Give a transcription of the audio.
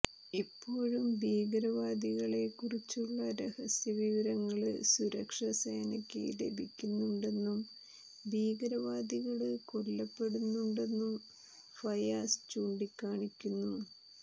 ഇപ്പോഴും ഭീകരവാദികളെ കുറിച്ചുള്ള രഹസ്യവിവരങ്ങള് സുരക്ഷസേനയ്ക്ക് ലഭിക്കുന്നുണ്ടെന്നും ഭീകരവാദികള് കൊല്ലപ്പെടുന്നുണ്ടെന്നും ഫയാസ് ചൂണ്ടിക്കാണിക്കുന്നു